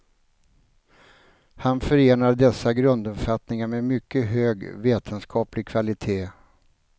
Han förenar dessa grunduppfattningar med mycket hög vetenskaplig kvalitet.